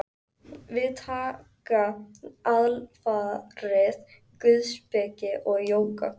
Við taka alfarið guðspeki og jóga.